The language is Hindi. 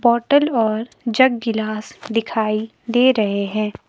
बॉटल और जग गिलास दिखाई दे रहे है।